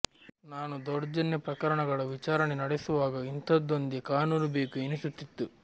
ನಾನು ದೌರ್ಜನ್ಯ ಪ್ರಕರಣಗಳ ವಿಚಾರಣೆ ನಡೆಸುವಾಗ ಇಂಥದ್ದೊಂದು ಕಾನೂನು ಬೇಕು ಎನಿಸುತ್ತಿತ್ತು